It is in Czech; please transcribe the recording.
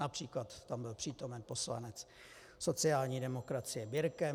Například tam byl přítomen poslanec sociální demokracie Birke.